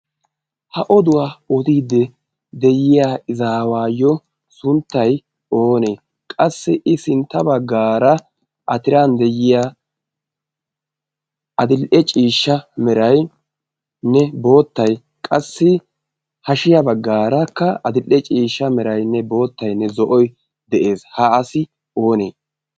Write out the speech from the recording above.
Ha oduwaa odiiddi de'iya izawayo sunttay oonee? Qassi i sintta baggaara atiran de'iya adil'ee ciishsha meraynne boottay qassi hashiyaa baggaaraakka adil'e ciishsha meraynne boottaynne zo'oy de'ees. Ha asi oonee?